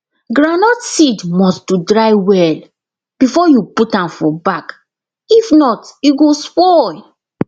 groundnut seed must to dry well before you put am for bag if not e go spoil